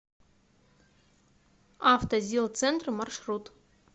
автозилцентр маршрут